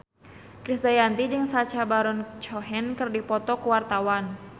Krisdayanti jeung Sacha Baron Cohen keur dipoto ku wartawan